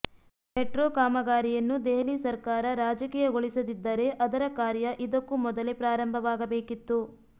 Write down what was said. metro ಕಾಮಗಾರಿಯನ್ನು ದೆಹಲಿ ಸರ್ಕಾರ ರಾಜಕೀಯಗೊಳಿಸದಿದ್ದರೆ ಅದರ ಕಾರ್ಯ ಇದಕ್ಕೂ ಮೊದಲೇ ಪ್ರಾರಂಭವಾಗಬೇಕಿತ್ತು